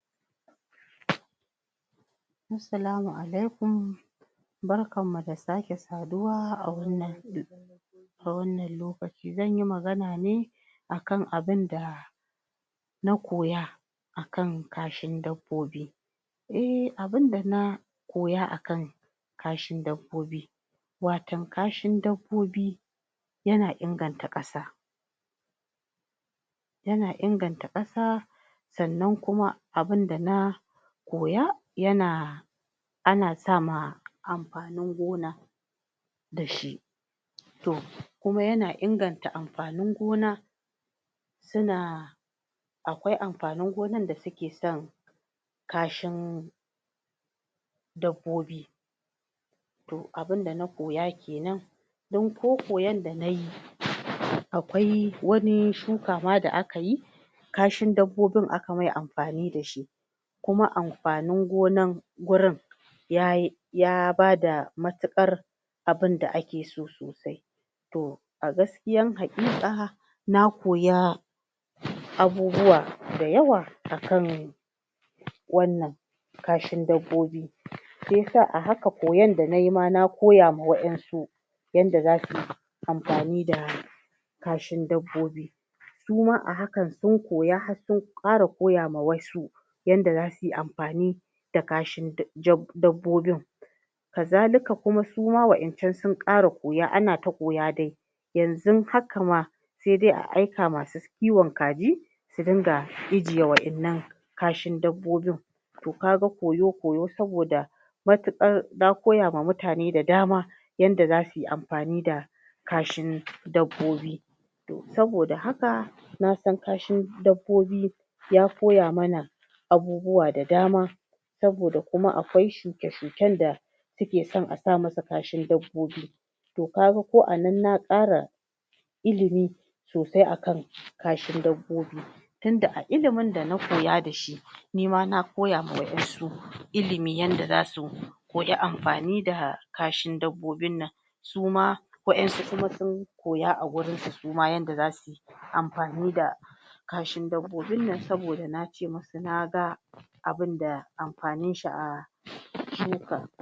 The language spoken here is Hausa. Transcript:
assalamu alaikum barkan mu da sake saduwa a wannan a wannan lokaci zanyi maganane akan abinda na koya akan kashin dabbobi um abunda na koya akan kashin dabbobi watan kashin dabbobi yana inganta ƙasa yana inganta ƙasa sannan kuma abunda na koya yana ana sa ma anfanin gona dashi tor kuma yana inganta anfanin gona suna akwai anfanin gonan dasuke son kashin dabbobi to abun da na koya kenan don ko koyan dana yi akwai wani shuka ma da'kayi kashin dabbobin akamai anfanin da shi kuma anfaninin gonan gurin yayi ya bada mutuƙar abunda akeso sosai to agaskiyan haƙiƙa na koya abubuwa dayawa akan wannan kashin dabbobi shiyasa koyan danayi a haka nakoya ma wasu yanda zasu yi anfani da kashin dabbobi suma a hakan sun koya har sun ƙara koya ma wasu yandan zasuy anfani i da kashin dabbobin kazalika kuma wayancan sun ƙara koya anata koya dai yanzun hakama sai dai a aika masu kiwon kaji su dinga ijiye wayannan kashin dabbobin to kaga koyo koyo saboda matuƙar na koya ma mutane da dama yanda zasuyi anfaninda kashin dabbobi to saboda haka na san kashin dabbobi ya koya mana abubuwa da dama saboda kuma akwai shuke shuken da suke san asa musu kashi dabbobi to kaga ko anan na ƙara ililmi sosai akan kashin dabbobi tunda ilimin da nakoya dashi nima na koya ma wayansu ilimi yanda zasu koyi anfani da kashin dabbobin nan sama wayansu kuma sun koya agurin su yanda zasu anfanin da kashin dabbobinnan saboda nace musu naga abunda anfanin shi a shuka